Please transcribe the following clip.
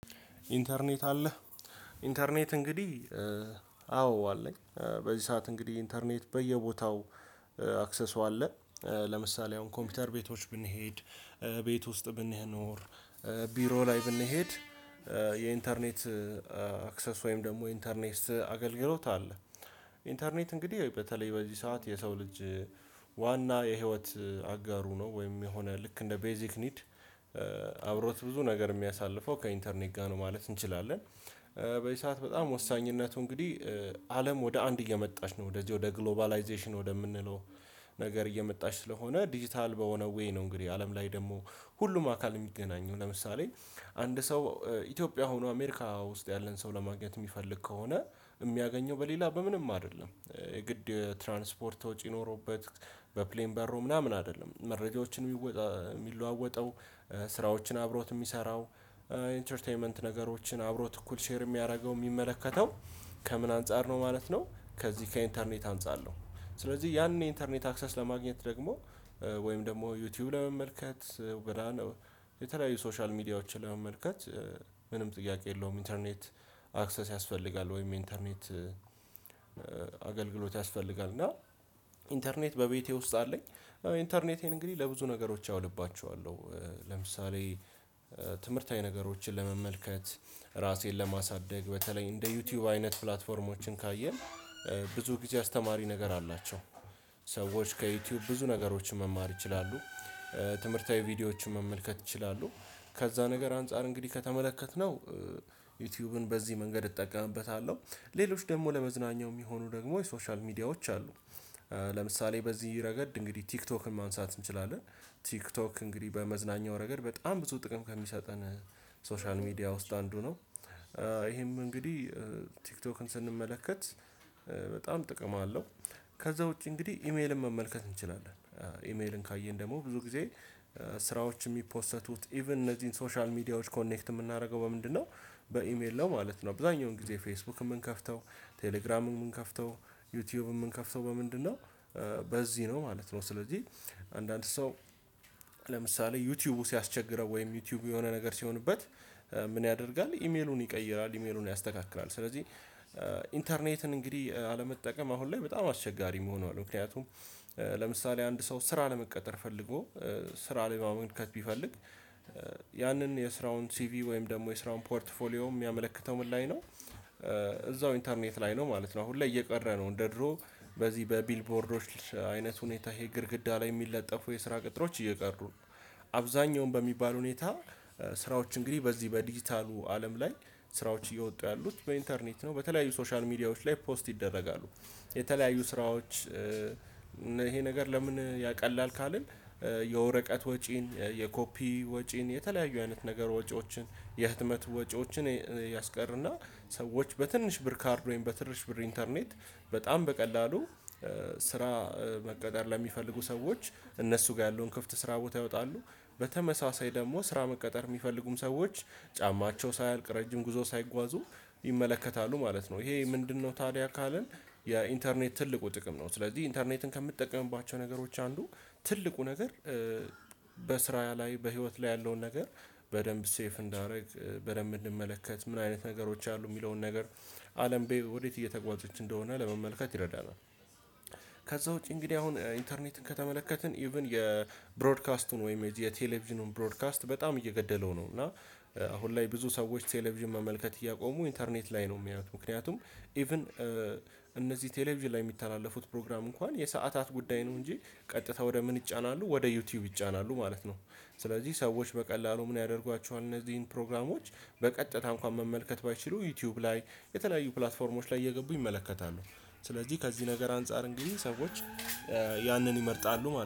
ኢንተርኔት አለህ ኢንተርኔት እንግዲህ አዎ አለኝ በዚህ ሰዓት እንግዲህ ኢንተርኔት በየቦታው አክሰሱ አለ። ለምሳሌ አሁን ኮምፒውተር ቤቶች ብንሄድ ቤት ውስጥ ብንኖር ቢሮ ላይ ብንሄድ የኢንተርኔት አክሰስ ወይም ደግሞ የኢንተርኔት አገልግሎት አለ። ኢንተርኔት እንግዲህ በተለይ በዚህ ሰዓት የሰው ልጅ ዋና የህይወት አጋሩ ነው ወይም የሆነ ልክ እንደ ቤዚክ ኒድ አብሮት ብዙ ነገር የሚያሳልፈው ከኢንተርኔት ጋር ነው ማለት እንችላለን። በዚህ ሰዓት በጣም ወሳኝነቱ እንግዲህ አለም ወደ አንድ እየመጣች ነው ወደዚህ ወደ ግሎባላይዜሽን ወደምንለው ነገር እየመጣች ስለሆነ ዲጂታል በሆነ ዌይ ነው። እንግዲህ አለም ላይ ደግሞ ሁሉም አካል የሚገናኘው ለምሳሌ አንድ ሰው ኢትዮጵያ ሆኖ አሜሪካ ውስጥ ያለን ሰው ለማግኘት የሚፈልግ ከሆነ የሚያገኘው በሌላ በምንም አይደለም የግድ የትራንስፖርት ወጪ ኖሮበት በፕሌን በሮ ምናምን አይደለም መረጃዎችን የሚለዋወጠው ስራዎችን አብሮት የሚሰራው ኢንተርቴይመንት ነገሮችን አብሮት እኩል ሼር የሚያደርገው የሚመለከተው ከምን አንፃር ነው ማለት ነው። ከዚህ ከኢንተርኔት አንፃር ነው። ስለዚህ ያንን የኢንተርኔት አክሰስ ለማግኘት ደግሞ ወይም ደግሞ ዩቲዩብ ለመመልከት የተለያዩ ሶሻል ሚዲያዎችን ለመመልከት ምንም ጥያቄ የለውም ኢንተርኔት አክሰስ ያስፈልጋል። ወይም ኢንተርኔት አገልግሎት ያስፈልጋል እና ኢንተርኔት በቤቴ ውስጥ አለኝ። ኢንተርኔቴን እንግዲህ ለብዙ ነገሮች አውልባቸዋለሁ ለምሳሌ ትምህርታዊ ነገሮችን ለመመልከት ራሴን ለማሳደግ በተለይ እንደ ዩቲዩብ አይነት ፕላትፎርሞችን ካየን ብዙ ጊዜ አስተማሪ ነገር አላቸው። ሰዎች ከዩቲዩብ ብዙ ነገሮችን መማር ይችላሉ ትምህርታዊ ቪዲዮዎችን መመልከት ይችላሉ። ከዛ ነገር አንፃር እንግዲህ ከተመለከትነው ዩቲዩብን በዚህ መንገድ እጠቀምበታለሁ ሌሎች ደግሞ ለመዝናኛ የሚሆኑ ደግሞ የሶሻል ሚዲያዎች አሉ። ለምሳሌ በዚህ ረገድ እንግዲህ ቲክቶክን ማንሳት እንችላለን ቲክቶክ እንግዲህ በመዝናኛው ረገድ በጣም ብዙ ጥቅም ከሚሰጠን ሶሻል ሚዲያ ውስጥ አንዱ ነው። ይሄም እንግዲህ ቲክቶክን ስንመለከት በጣም ጥቅም አለው። ከዛ ውጪ እንግዲህ ኢሜልን መመልከት እንችላለን። ኢሜልን ካየን ደግሞ ብዙ ጊዜ ስራዎች የሚፖሰቱት ኢቭን እነዚህን ሶሻል ሚዲያዎች ኮኔክት የምናደርገው በምንድነው በኢሜል ነው ማለት ነው። አብዛኛውን ጊዜ ፌስቡክ የምንከፍተው ቴሌግራም የምንከፍተው ዩቲዩብ የምንከፍተው በምንድነው በዚህ ነው ማለት ነው። ስለዚህ አንዳንድ ሰው ለምሳሌ ዩቲዩቡ ሲያስቸግረው ወይም ዩቲዩቡ የሆነ ነገር ሲሆንበት ምን ያደርጋል? ኢሜሉን ይቀይራል ኢሜሉን ያስተካክላል ስለዚህ ኢንተርኔትን እንግዲህ አለመጠቀም አሁን ላይ በጣም አስቸጋሪ ሆኗል። ምክንያቱም ለምሳሌ አንድ ሰው ስራ ለመቀጠር ፈልጎ ስራ ለማመልከት ቢፈልግ ያንን የስራውን ሲቪ ወይም ደግሞ የስራውን ፖርትፎሊዮ የሚያመለክተው ምን ላይ ነው? እዛው ኢንተርኔት ላይ ነው ማለት ነው። አሁን ላይ እየቀረ ነው እንደ ድሮ በዚህ በቢልቦርዶች አይነት ሁኔታ ይሄ ግድግዳ ላይ የሚለጠፉ የስራ ቅጥሮች እየቀሩ ነው። አብዛኛውን በሚባል ሁኔታ ስራዎች እንግዲህ በዚህ በዲጂታሉ አለም ላይ ስራዎች እየወጡ ያሉት በኢንተርኔት ነው በተለያዩ ሶሻል ሚዲያዎች ላይ ፖስት ይደረጋሉ። የተለያዩ ስራዎች ይሄ ነገር ለምን ያቀላል? ካልን የወረቀት ወጪን የኮፒ ወጪን የተለያዩ አይነት ነገር ወጪዎችን የህትመት ወጪዎችን ያስቀርና ሰዎች በትንሽ ብር ካርድ ወይም በትንሽ ብር ኢንተርኔት በጣም በቀላሉ ስራ መቀጠር ለሚፈልጉ ሰዎች እነሱ ጋር ያለውን ክፍት ስራ ቦታ ያወጣሉ በተመሳሳይ ደግሞ ስራ መቀጠር የሚፈልጉም ሰዎች ጫማቸው ሳያልቅ ረጅም ጉዞ ሳይጓዙ ይመለከታሉ ማለት ነው። ይሄ ምንድነው? ታዲያ ካልን የኢንተርኔት ትልቁ ጥቅም ነው። ስለዚህ ኢንተርኔትን ከምጠቀምባቸው ነገሮች አንዱ ትልቁ ነገር በስራ ላይ በህይወት ላይ ያለውን ነገር በደንብ ሴፍ እንዳደርግ በደንብ እንድመለከት ምን አይነት ነገሮች አሉ የሚለውን ነገር አለም በይ ወዴት እየተጓዘች እንደሆነ ለመመልከት ይረዳናል። ከዛ ውጪ እንግዲህ አሁን ኢንተርኔትን ከተመለከትን ኢቭን የብሮድካስቱን ወይም የቴሌቪዥኑን ብሮድካስት በጣም እየገደለው ነው። እና አሁን ላይ ብዙ ሰዎች ቴሌቪዥን መመልከት እያቆሙ ኢንተርኔት ላይ ነው የሚያዩት። ምክንያቱም ኢቭን እነዚህ ቴሌቪዥን ላይ የሚተላለፉት ፕሮግራም እንኳን የሰዓታት ጉዳይ ነው እንጂ ቀጥታ ወደ ምን ይጫናሉ ወደ ዩቲዩብ ይጫናሉ ማለት ነው። ስለዚህ ሰዎች በቀላሉ ምን ያደርጓቸዋል እነዚህን ፕሮግራሞች በቀጨታ እንኳን መመልከት ባይችሉ ዩቲዩብ ላይ የተለያዩ ፕላትፎርሞች ላይ እየገቡ ይመለከታሉ። ስለዚህ ከዚህ ነገር አንፃር እንግዲህ ሰዎች ያንን ይመርጣሉ ማለት ነው